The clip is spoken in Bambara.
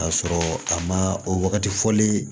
Ka sɔrɔ a ma o wagati fɔli